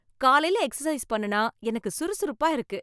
காலையில எக்சர்சைஸ் பண்ணுனா எனக்கு சுறுசுறுப்பா இருக்கு